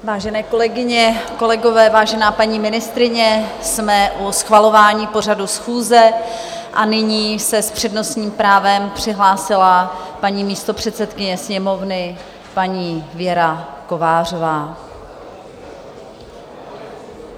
Vážené kolegyně, kolegové, vážená paní ministryně, jsme u schvalování pořadu schůze a nyní se s přednostním právem přihlásila paní místopředsedkyně Sněmovny, paní Věra Kovářová.